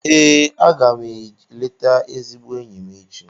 Ee, a ga m eleta ezigbo enyi m echi.